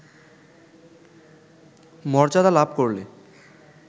মর্যাদা লাভ করলে